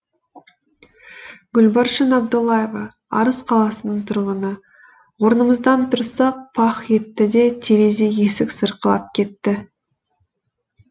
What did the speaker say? гүлбаршын абдуллаева арыс қаласының тұрғыны орнымыздан тұрсақ пах етті де терезе есік сырқырап кетті